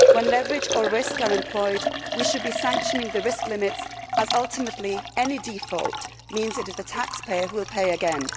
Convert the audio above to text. When leverage or risk is employed, we should be sanctioning the risk limits, as ultimately any default means that it is the taxpayer who will pay again.